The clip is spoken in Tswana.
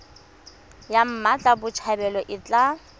ya mmatla botshabelo e tla